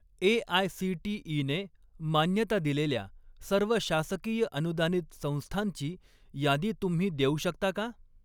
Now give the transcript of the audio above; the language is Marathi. ए.आय.सी.टी.ई.ने मान्यता दिलेल्या सर्व शासकीय अनुदानित संस्थांची यादी तुम्ही देऊ शकता का?